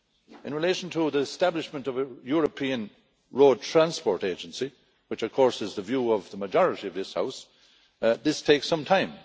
In relation to the establishment of a European Road Transport Agency, which of course is the view of the majority of this House, this takes some time.